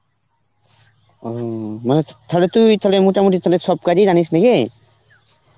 অ থালে তুই থালে মোটামুটি থালে সব কাজই জানিস নাকি?